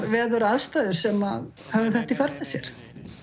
veðuraðstæður sem höfðu þetta í för með sér